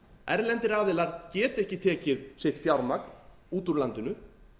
erlendir aðilar geta ekki tekið sitt fjármagn út úr landinu